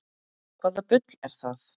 Hvaða bull er það?